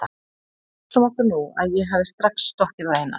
En hugsum okkur nú að ég hefði strax stokkið á Einar